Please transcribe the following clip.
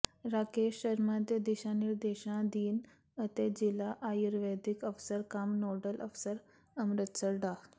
ਰਾਕੇਸ਼ ਸ਼ਰਮਾ ਦੇ ਦਿਸ਼ਾ ਨਿਰਦੇਸ਼ਾਂ ਅਧੀਨ ਅਤੇ ਜ਼ਿਲ੍ਹਾ ਆਯੁਰਵੈਦਿਕ ਅਫ਼ਸਰ ਕਮ ਨੋਡਲ ਅਫ਼ਸਰ ਅੰਮ੍ਰਿਤਸਰ ਡਾ